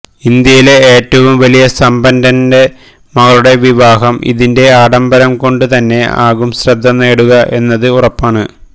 ഇന്ത്യയിലെ ഏറ്റവും വലിയ സമ്പന്നന്റെ മകളുടെ വിവാഹം അതിന്റെ ആഡംബരം കൊണ്ട് തന്നെ ആകും ശ്രദ്ധ നേടുക എന്നത് ഉറപ്പാണ്